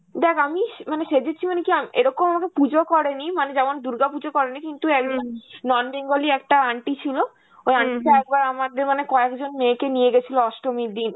দেখ আমি স~ মানে সেজেছি মানে কি আ~ এরকম আমাকে পুজো করেনি, মানে যেমন দুর্গা পুজো করেনি কিন্তু একজন non bengali একটা aunty ছিল, ওই aunty টা একবার আমাদের মানে কয়েকজন মেয়েকে নিয়ে গেছিল অষ্টমীর দিন,